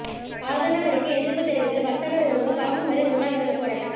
ஆதனவரிக்கு எதிர்ப்புத் தெரிவித்து வர்த்தகர் ஒருவர் சாகும் வரை உண்ணாவிரத போராட்டம்